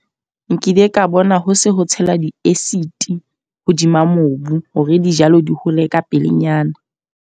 Nkile ka bona ho se ho tshela di-acid hodima mobu. Hore dijalo di hole ka pelenyana.